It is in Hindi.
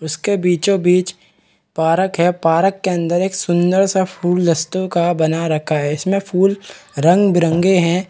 उसके बीचो-बीच पार्क है पार्क के अंदर एक सुन्दर सा फूलस्तो का बना रखा है इसमें फूल रंग-बिरंगे है।